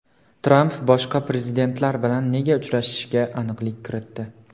Tramp boshqa prezidentlar bilan nega uchrashishiga aniqlik kiritdi.